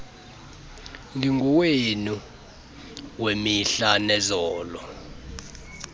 ndingowenu wemihla nezolo